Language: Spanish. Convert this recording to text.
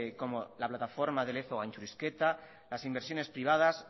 como la plataforma de lezo gaintxurizketa las inversiones privadas